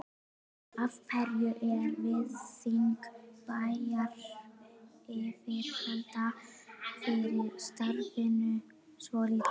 Af hverju er virðing bæjaryfirvalda fyrir starfinu svo lítil?